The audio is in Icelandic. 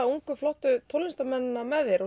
ungu flottu tónlistarmennina með þér